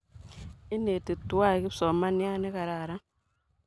Ineti twai kispsomaniat ne kararan.